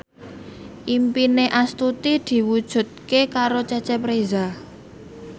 impine Astuti diwujudke karo Cecep Reza